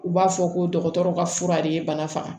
U b'a fɔ ko dɔgɔtɔrɔ ka fura de ye bana faga